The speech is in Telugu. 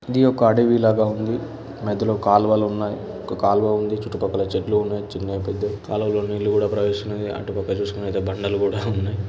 ఇది ఒక అడవి లాగా ఉంది మధ్యలో కాల్వలు ఉన్నాయి ఒక కాల్వ ఉంది చుట్టుపక్కల చెట్లు ఉన్నాయి చిన్న పెద్ద కాలువల్లో నీళ్లు కూడా ప్రవేశిస్తున్నాయి అటు పక్క చూసుకునట్టు ఐతే బండలు కూడా ఉన్నాయి.